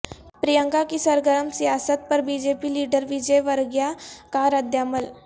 پرینکا کی سرگرم سیاست پر B J P leader Vijayvargiya کا ردعمل